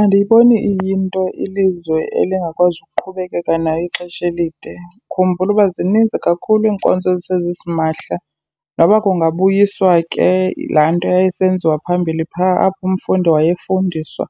Andiyiboni iyinto ilizwe elingakwazi ukuqhubekeka nayo ixesha elide. Khumbula uba zininzi kakhulu iinkonzo ezisezisimahla, noba kungabuyiswa ke laa nto yayisenziwa phambili phaa apho umfundi wayefundiswa